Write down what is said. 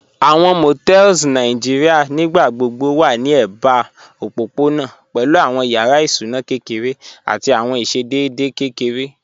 Àwọn Motels Nàìjíríà nígbàgbọ̀bọ̀ wà ní èbà òpópọ̀nà pẹ̀lú àwọn yàrá ìsúnà kẹkẹrẹ̀ àti àwọn ìṣẹ̀dẹ̀dẹ̀ kẹkẹrẹ̀